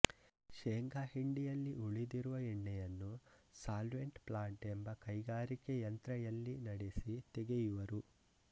ಶೇಂಗಾ ಹಿಂಡಿಯಲ್ಲಿ ಉಳಿದಿರುವ ಎಣ್ಣೆಯನ್ನು ಸಾಲ್ವೆಂಟ್ ಪ್ಲಾಂಟ್ ಎಂಬ ಕೈಗಾರಿಕೆ ಯಂತ್ರ ಯಲ್ಲಿ ನಡೆಸಿ ತೆಗೆಯುವರು